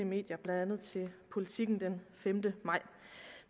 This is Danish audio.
medier blandt andet til politiken den femte maj